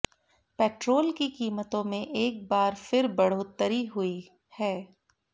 petrol की कीमतों में एक बार फिर बढ़ोत्तरी हुई है